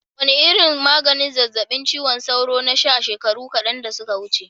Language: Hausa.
Wane irin maganin zazzabin cizon sauro na sha shekaru kadan da suka wuce?